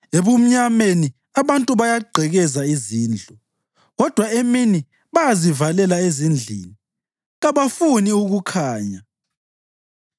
Ebumnyameni abantu bayagqekeza izindlu, kodwa emini bayazivalela endlini; kabakufuni ukukhanya.